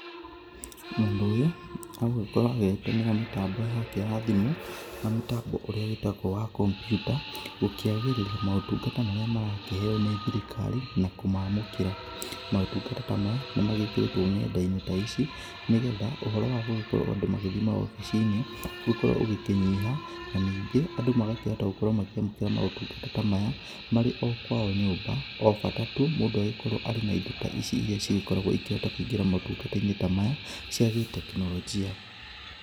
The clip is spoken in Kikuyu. Mũndũ ũyũ, aragĩkorũo agĩtũmĩra mĩtambo yake ya thimũ, na mũtambo ũrĩa wĩtagũo wa computa, gũkĩagĩrithia motungata marĩa marakĩheo nĩ thirikari, na kũmamũkĩra. Maũtungata ta maya, nĩmagĩkĩrĩtũo nendainĩ ta ici, nĩgetha ũhoro wa gũgĩkorũo andũ magĩthiĩ mawobicinĩ, gũkorũo ũgĩkĩnyiha, na ningĩ, andũ magakĩhota gũkorũo makĩamũkĩra maũtungata ta maya, marĩ okwao nyũmba, obata tu, mũndũ agĩkorũo arĩ na indo ta ici iria cigĩkoragũo ikĩhota kũingĩra motungatainĩ ta maya, cia gĩtekinolonjia.